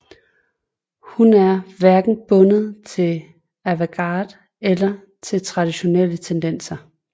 Hun er hverken bundet til avantgarde eller til traditionelle tendenser